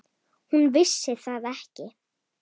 Hún vissi það ekki.